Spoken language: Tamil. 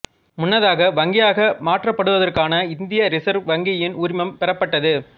முன்னதாக வங்கியாக மாற்றப்படுவதற்கான இந்திய ரிசர்வ் வங்கியின் உரிமம் பெறப்பட்டது